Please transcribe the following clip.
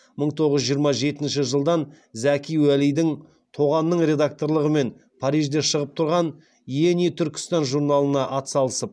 мың тоғыз жүз жиырма жетінші жылдан зәки уәлиди тоғанның редакторлығымен парижде шығып тұрған иени түркістан журналына атсалысып